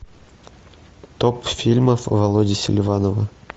топ фильмов володи селиванова